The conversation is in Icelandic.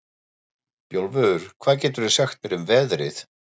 Bjólfur, hvað geturðu sagt mér um veðrið?